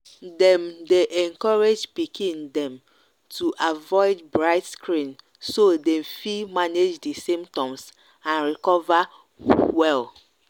dem dey encourage pikin dem to avoid bright screen so dem fit manage di symptoms and recover well.